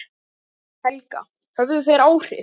Helga: Höfðu þeir áhrif?